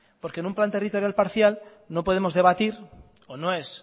porque en un plan territorial parcial no podemos debatir o no es